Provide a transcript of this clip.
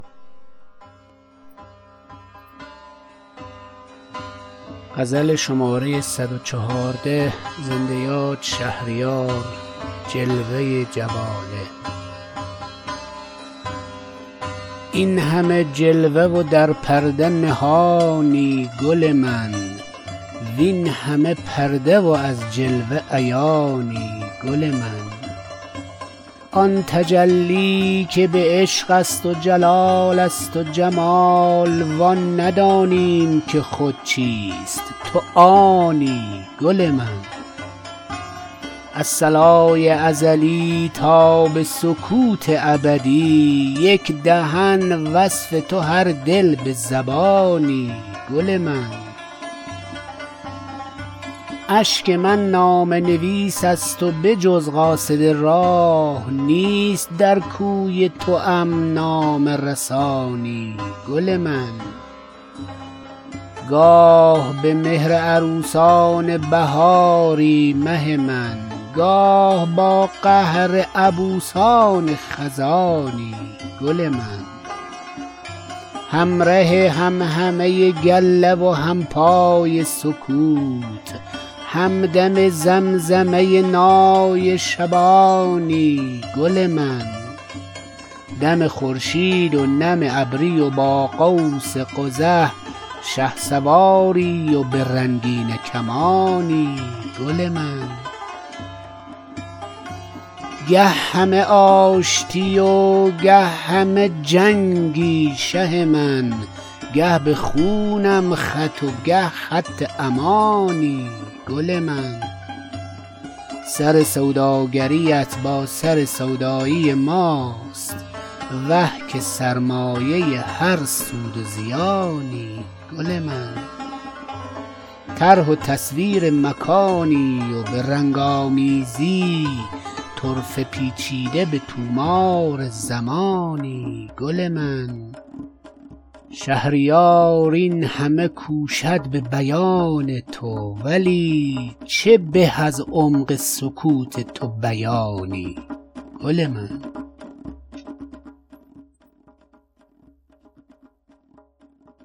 این همه جلوه و در پرده نهانی گل من وین همه پرده و از جلوه عیانی گل من جز یکی راز که پیوسته نهان ماند نیست تویی آن راز که پیوسته نهانی گل من همه طفلند در این وادی و تا این وادی ست کس نداده ست نشان پیر و جوانی گل من آن تجلی که به عشق است و جلالست و جمال و آن ندانیم که خود چیست تو آنی گل من از صلای ازلی تا به سکوت ابدی یک دهن وصف تو هر دل به زبانی گل من آفرینش همه یک جلو جواله توست وه چه فواره فوری فورانی گل من همه سرگشته پرگار تو و در همه کون نیست یک دایره بی دورانی گل من در شب تیره به توفان دل اقیانوس جز تو دیگر نه کنار و نه کرانی گل من اشک من نامه نویس است وبجز قاصد راه نیست در کوی توام نامه رسانی گل من گاه به مهر عروسان بهاری مه من گاه با قهر عبوسان خزانی گل من همره همهمه گله و همپای سکوت همدم زمزمه نای شبانی گل من با نگارین غزلان کلک سبک سنج ظریف با حماسی هنران گرز گرانی گل من گه همه آشتی و گه همه جنگی شه من گه به خونم خط و گه خط امانی گل من سر سوداگریت با سر سودایی ماست وه که سرمایه هر سود و زیانی گل من طرح و تصویر مکانی و به رنگ آمیزی طرفه پیچیده به طومار زمانی گل من کارگاه تو به چرخیدن سرسام انگیز تن و جسمند و تو خود روح و روانی گل من گر به فرمان تو یک ایست کند کون و مکان در زمان نیست دگر کون و مکانی گل من شهریار این همه کوشد به بیان تو ولی چه به از عمق سکوت تو بیانی گل من